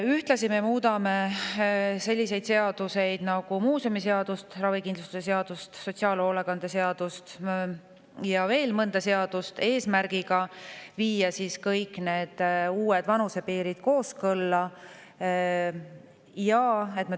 Ühtlasi muudame selliseid seaduseid nagu muuseumiseadus, ravikindlustuse seadus, sotsiaalhoolekande seadus ja veel mõni seadus eesmärgiga viia kõik vanusepiirid kooskõlla.